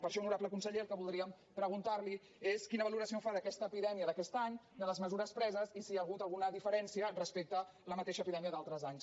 per això honorable conseller el que voldríem preguntar li és quina valoració en fa d’aquesta epidèmia d’aquest any de les mesures preses i si hi ha hagut alguna diferència respecte a la mateixa epidèmia d’altres anys